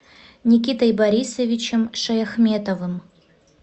никитой борисовичем шаяхметовым